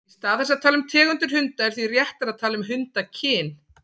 Í stað þess að tala um tegundir hunda er því réttara að tala um hundakyn.